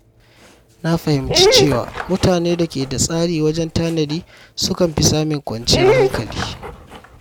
Na fahimci cewa mutane da ke da tsari wajen tanadi sukan fi samun kwanciyar hankali.